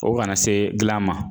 O kana se dilan ma